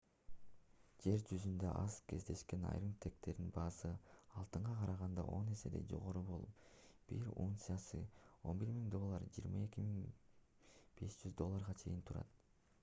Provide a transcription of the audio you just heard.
жер жүзүндө аз кездешкен айрым тектердин баасы алтынга караганда он эседей жогору болуп бир унциясы 11 000 доллардан 22 500 долларга чейин турат